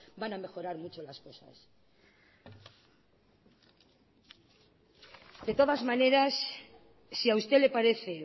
van a mejorar mucho las cosas de todas maneras si a usted le parece